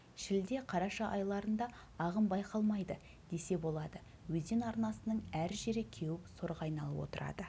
шілде қараша айларында ағын байқалмайды десе болады өзен арнасының әр жері кеуіп сорға айналып отырады